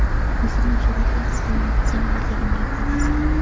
O‘zimni jur’atli his qilaman, salomatligimga foydasi katta.